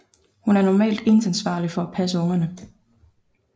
Hun er normalt eneansvarlig for at passe ungerne